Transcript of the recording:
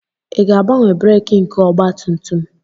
Ị ga-agbanwe breeki nke ọgba tum tum?